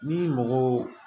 Ni mɔgɔw